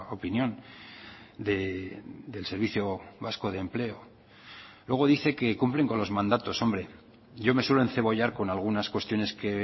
opinión del servicio vasco de empleo luego dice que cumplen con los mandatos hombre yo me suelo encebollar con algunas cuestiones que